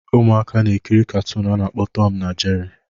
Ụmụaka na-ekiri katụụnu a na-akpọ tọm na jeri